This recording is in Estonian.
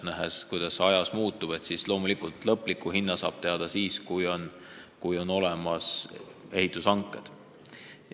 Nähes, kuidas kõik ajas muutub, on selge, et lõpliku maksumuse saab teada siis, kui on olemas ehitushanked.